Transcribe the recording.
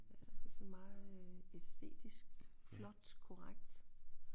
Ja det er sådan meget øh æstetisk flot korrekt